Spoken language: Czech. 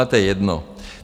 Ale to je jedno.